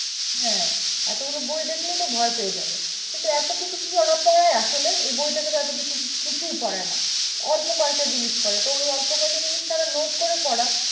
হ্যাঁ এতগুলো বই দেখলেই তো ভয় পেয়ে যাবে কিন্তু এত কিছু কি ওরা পড়ায় আসলে? এই বই থেকে তো এতকিছু কিছুই পড়ায় না অল্প কয়েকটা জিনিস পড়ায়, তো ওই অল্প কয়েকটা জিনিস তারা note করে পড়াক।